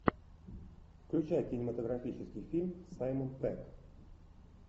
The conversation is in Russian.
включай кинематографический фильм саймон пегг